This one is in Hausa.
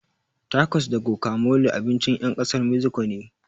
Takos da gokamole abincin ƴan ƙasar meziko ne